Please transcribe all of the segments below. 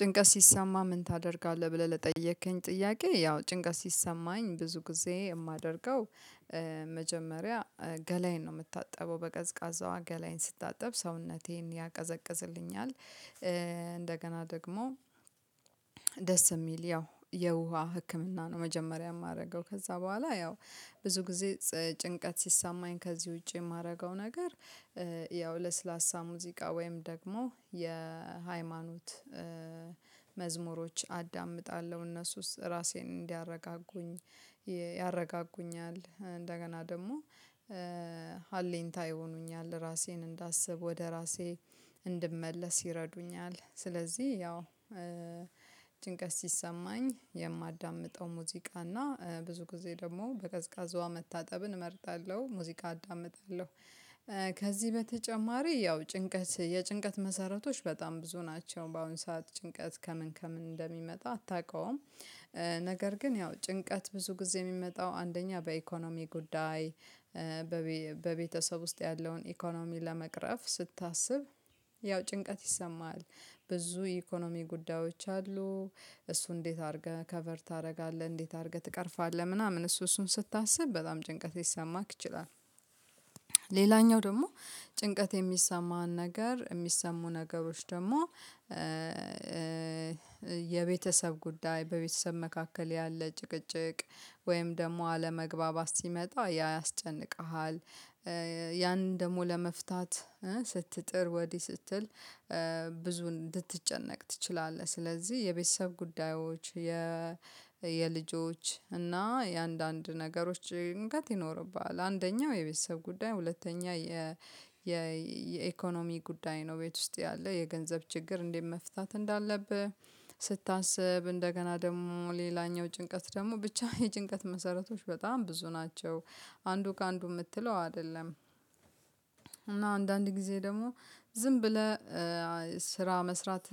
ጭንቀት ሲሰማ ምን ታደርጋለህ ብለህ ለጠየከኝ ጥያቄ? ያው ጭንቀት ሲሰማኝ ብዙ ጊዜ የማደርገው። መጀመሪያ ገላዬን ነው የምታጠበው በቀዝቃዛ ውሃ ገላዬን ስታጠብ ሰውነቴን ያቀዘቅዝልኛል እንደገና ደግሞ ደስ የሚል ያው የውሃ ህክምና ነው። መጀመሪያ የማደርገው ከዛ በኋላ ያው ብዙ ጊዜ ጭንቀት ሲሰማኝ ከዚህ ውጪ የማደርገው ነገር ያው ለስላሳ ሙዚቃ ወይም ደግሞ የሃይማኖት መዝሙሮች አዳምጣለሁ እነሱ ራሴን እንዲያረጋጉኝ። ያረጋጉኛል እንደገና ደግሞ ሀሌንታ ይሆኑኛል ራሴን እንዳስብ ወደ ራሴ እንድመለስ ይረዱኛል። ስለዚህ ያው ጭንቀት ሲሰማኝ የማዳምጠው ሙዚቃ እና ብዙ ጊዜ ደግሞ በቀዝቃዛ ውሃ መታጠብን እመርጣለሁ። ሙዚቃ አዳምጣለሁ ከዚህ በተጨማሪ ያው ጭንቀት የጭንቀት መሰረቶች በጣም ብዙ ናቸው በአሁን ሰዓት ጭንቀት ከምን ከምን እንደሚመጣ አታውቀውም። ነገር ግን ያው ጭንቀት ብዙ ጊዜ የሚመጣው አንደኛ በኢኮኖሚ ጉዳይ። በቤተሰብ ውስጥ ያለውን ኢኮኖሚ ለመቅረፍ ስታስብ ያው ጭንቀት ይሰማሃል። ብዙ የኢኮኖሚ ጉዳዮች አሉ እሱ እንዴት አድርገህ ከቨር ታደርጋለህ እንዴት አድርገህ ትቀርፋለህ ምናምን እሱ እሱን ስታስብ በጣም ጭንቀት ሊሰማህ ይችላል። ሌላኛው ደግሞ ጭንቀት የሚሰማህን ነገር የሚሰሙ ነገሮች ደግሞ የቤተሰብ ጉዳይ በቤተሰብ መካከል ያለ ጭቅጭቅ ወይም ደግሞ አለመግባባት ሲመጣ ያ ያስጨንቅሃል። ያን ደግሞ ለመፍታት ስትጥር ወዲህ ስትል ብዙ እንድትጨነቅ ትችላለህ። ስለዚህ የቤተሰብ ጉዳዮች የ የልጆች እና የአንዳንድ ነገሮች ጭንቀት ይኖርብሃል። አንደኛው የቤተሰብ ጉዳይ ሁለተኛ የ የኢኮኖሚ ጉዳይ ነው። ቤት ውስጥ ያለ የገንዘብ ችግር እንዴት መፍታት እንዳለብህ ስታስብ እንደገና ደግሞ ሌላኛው ጭንቀት ደግሞ ብቻ የጭንቀት መሰረቶች በጣም ብዙ ናቸው። አንዱ ከአንዱ የምትለው አይደለም። እና አንዳንድ ጊዜ ደግሞ ዝም ብለህ ስራ መስራት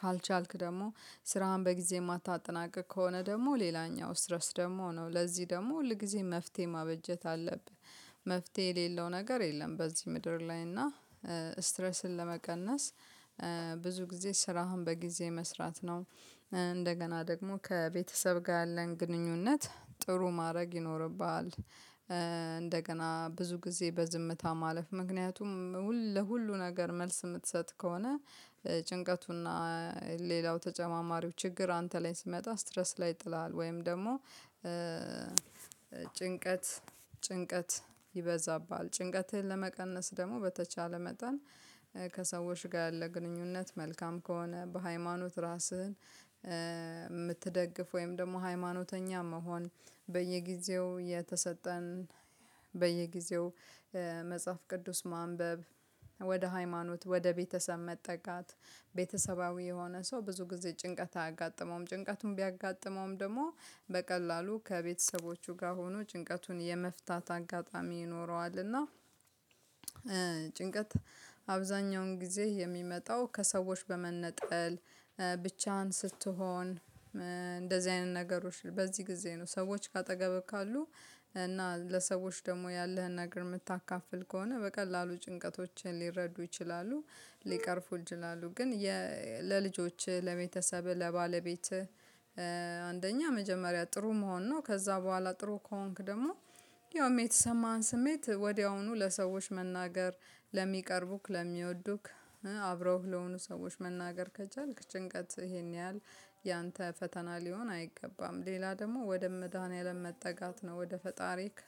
ካልቻልክ ደግሞ ስራህን በጊዜ የማታጠናቅቅ ከሆነ ደግሞ ሌላኛው ስትረስ ደግሞ ነው ለዚህ ደግሞ ሁል ጊዜ መፍትሄ ማበጀት አለብህ። መፍትሄ የሌለው ነገር የለም። በዚህ ምድር ላይ እና ስትረስን ለመቀነስ ብዙ ጊዜ ስራህን በጊዜ መስራት ነው። እንደገና ደግሞ ከቤተሰብ ጋር ያለን ግንኙነት ጥሩ ማድረግ ይኖርብሃል። እንደገና ብዙ ጊዜ በዝምታ ማለፍ ምክንያቱም ለሁሉ ነገር መልስ የምትሰጥ ከሆነ ጭንቀቱና ሌላው ተጨማማሪው ችግር አንተ ላይ ሲመጣ ስትረስ ላይ ይጥላል። ወይም ደግሞ ጭንቀት ጭንቀት ይበዛብሃል። ጭንቀትህን ለመቀነስ ደግሞ በተቻለ መጠን ከሰዎች ጋር ያለ ግንኙነት መልካም ከሆነ በሃይማኖት ራስህን የምትደግፍ ወይም ደግሞ ሃይማኖተኛ መሆን በየጊዜው የተሰጠን በየጊዜው መጽሐፍ ቅዱስ ማንበብ ወደ ሃይማኖት ወደ ቤተሰብ መጠጋት ቤተሰባዊ የሆነ ሰው ብዙ ጊዜ ጭንቀት አያጋጥመውም። ጭንቀቱን ቢያጋጥመውም ደግሞ በቀላሉ ከቤተሰቦቹ ጋር ሆኖ ጭንቀቱን የመፍታት አጋጣሚ ይኖረዋልና። እና ጭንቀት አብዛኛውን ጊዜ የሚመጣው ከሰዎች በመነጠል ብቻህን ስትሆን እንደዚህ አይነት ነገሮች በዚህ ጊዜ ነው። ሰዎች ከአጠገብህ ካሉ እና ለሰዎች ደግሞ ያለህን ነገር የምታካፍል ከሆነ በቀላሉ ጭንቀቶችን ሊረዱ ይችላሉ። ሊቀርፉልህ ይላሉ። ግን ለልጆችህ ለመተሰብህ ለባለቤትህ አንደኛ መጀመሪያ ጥሩ መሆን ነው። ከዛ በኋላ ጥሩ ከሆንክ ደግሞ ያውም የተሰማህን ስሜት ወዲያውኑ ለሰዎች መናገር ለሚቀርቡክ ለሚወዱክ አብረውህ ለሆኑ ሰዎች መናገር ከቻልክ ጭንቀት ይሄን ያህል ያንተ ፈተና ሊሆን አይገባም። ሌላ ደግሞ ወደ መድሃኒያለም መጠጋት ነው። ወደ ፈጣሪክ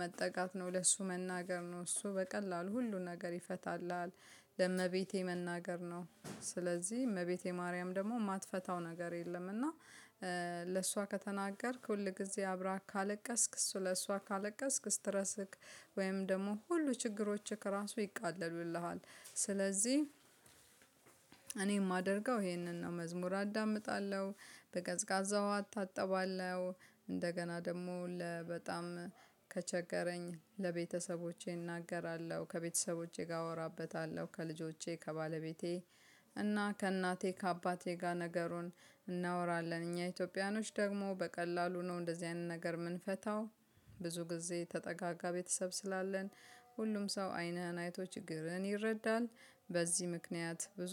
መጠጋት ነው። ለሱ መናገር ነው እሱ በቀላሉ ሁሉን ነገር ይፈታልሃል። ለእመቤቴ መናገር ነው። ስለዚህ እመቤቴ ማርያም ደግሞ የማትፈታው ነገር የለም። እና ለእሷ ከተናገርክ ሁል ጊዜ አብራህ ካለቀስክ ስለእሷ ካለቀስክ ስትረስክ ደግሞ ሁሉ ችግሮችህ ከራሱ ይቃሉልሃል። ስለዚህ እኔ የማደርገው ይሄንን ነው መዝሙር አዳምጣለሁ። በቀዝቃዛ ውሃ አታጥባለሁ። እንደገና ደግሞ ለ በጣም ከቸገረኝ ለቤተሰቦቼ እናገራለሁ ከቤተሰቦቼ ጋር አወራበታለሁ ከልጆቼ ከባለቤቴ እና ከእናቴ ከአባቴ ጋር ነገሩን እናወራለን እኛ ኢትዮጵያኖች ደግሞ በቀላሉ ነው እንደዚህ አይነት ነገር የምንፈታው። ብዙ ጊዜ የተጠጋጋ ቤተሰብ ስላለን ሁሉም ሰው አይነህን አይቶ ችግርህን ይረዳል። በዚህ ምክንያት ብዙ